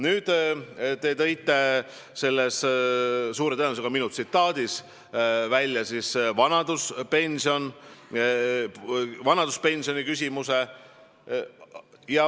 Nüüd, te tõite selles suure tõenäosusega minu tsitaadis välja vanaduspensioni küsimuse.